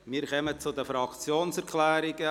Wir kommen zu den Fraktionserklärungen.